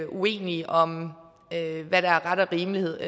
uenige om hvad der er ret og rimelighed